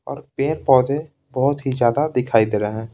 और पेड़-पौधे बहुत ही ज्यादा दिखाई दे रहे हैं।